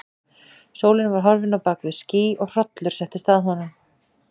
Sólin var horfin á bak við ský og hrollur settist að honum.